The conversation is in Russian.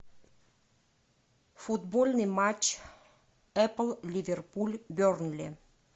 футбольный матч апл ливерпуль бернли